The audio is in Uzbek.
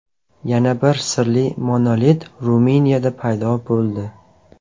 Yana bir sirli monolit Ruminiyada paydo bo‘ldi.